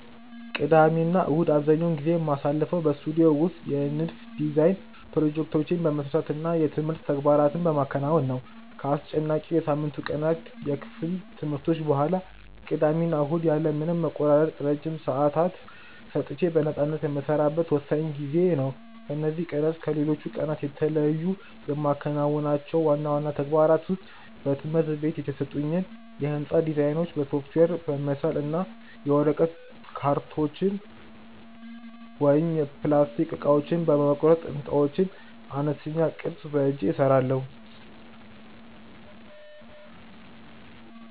ቅዳሜና እሁድን አብዛኛውን ጊዜ የማሳልፈው በስቱዲዮ ውስጥ የንድፍ (Design) ፕሮጀክቶቼን በመስራት እና የትምህርት ተግባራትን በማከናወን ነው። ከአስጨናቂው የሳምንቱ ቀናት የክፍል ትምህርቶች በኋላ፣ ቅዳሜና እሁድ ያለ ምንም መቆራረጥ ረጅም ሰዓታት ሰጥቼ በነፃነት የምሰራበት ወሳኝ ጊዜዬ ነው። በእነዚህ ቀናት ከሌሎች ቀናት የተለዩ የማከናውናቸው ዋና ዋና ተግባራት ውስጥ በትምህርት ቤት የተሰጡኝን የሕንፃ ዲዛይኖች በሶፍትዌር በመሳል እና የወረቀት፣ የካርቶን ወይም የፕላስቲክ እቃዎችን በመቁረጥ የሕንፃዎችን አነስተኛ ቅርፅ በእጄ እሰራለሁ።